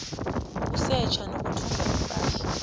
ukusetjha nokuthumba ipahla